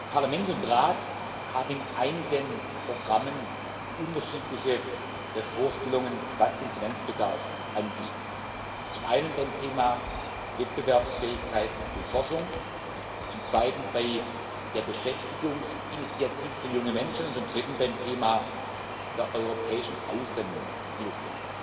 Parlament und Rat haben in einigen Programmen unterschiedliche Vorstellungen, was den Finanzbedarf angeht. Zum einen beim Thema Wettbewerbsfähigkeit und Forschung, zum zweiten bei der Beschäftigungsinitiative für junge Menschen und zum dritten beim Thema der europäischen Außenhilfe.